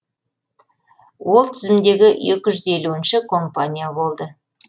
ол тізімдегі екі жүз елуінші компания болды